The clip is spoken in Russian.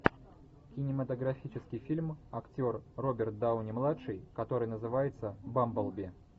кинематографический фильм актер роберт дауни младший который называется бамблби